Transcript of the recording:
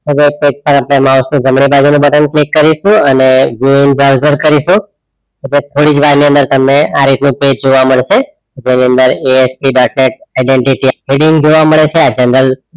mouse નું જમણી બાજુ નું button click કરીશુ અને vn browser કરીસું એટ્લેજ થોડીક વાર ની અંદર તમને આ રીતે નું page જોવા મળશે એટલે એની અંદર asp dot net identity heading જોવા મળે છે